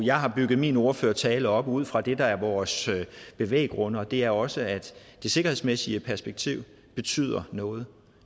jeg har bygget min ordførertale op ud fra det der er vores bevæggrunde og det er også at det sikkerhedsmæssige perspektiv betyder noget